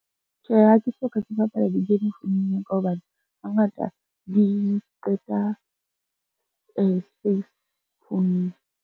Tjhe, ha ke soka ke bapala di-game founung ya ka hobane, hangata di qeta space founung.